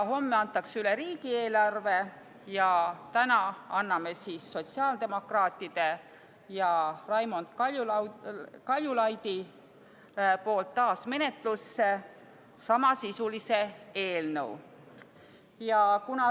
Homme antakse üle riigieelarve ja täna anname sotsiaaldemokraatide ja Raimond Kaljulaidi nimel taas menetlusse samasisulise eelnõu.